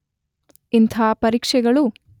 ಇಂಥ ಪರೀಕ್ಷೆಗಳು